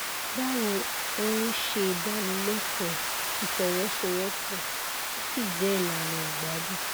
báwo ò ń ṣe ìdánilẹkọọ ìfọwọsowọpọ ó sì jẹ ìlànà ìgbádùn